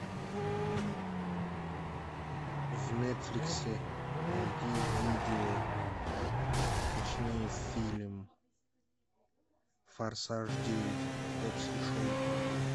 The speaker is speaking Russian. в нетфликсе найди видео точнее фильм форсаж девять хоббс и шоу